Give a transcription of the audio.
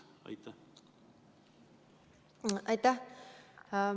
Aitäh!